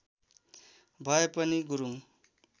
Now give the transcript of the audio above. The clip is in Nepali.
भए पनि गुरुङ